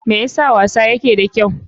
Me yasa wasa yake da kyau?